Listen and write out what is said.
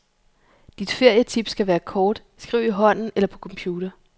Dit ferietip skal være kort, skriv i hånden eller på computer.